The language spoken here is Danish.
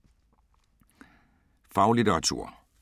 Faglitteratur